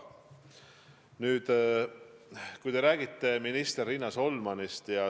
Nüüd, te räägite minister Riina Solmanist.